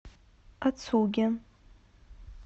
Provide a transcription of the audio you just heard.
ацуги